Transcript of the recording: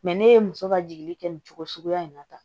ne ye muso ka jigi kɛ nin cogo suguya in na tan